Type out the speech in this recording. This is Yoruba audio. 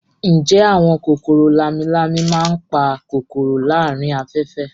Ǹjẹ́ àwọn kòkòrò lámi-lámi máa ń pa kòkòrò láàárín afẹ́fẹ́